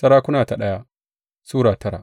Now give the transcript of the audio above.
daya Sarakuna Sura tara